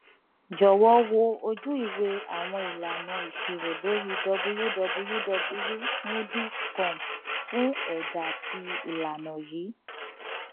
jọwọ wo ojuiwe awọn ilana iṣiro lori www moodys com fun ẹda ti ilana yii